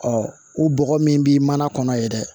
u bɔgɔ min bi mana kɔnɔ yen dɛ